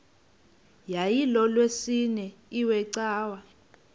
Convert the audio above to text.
yayilolwesine iwe cawa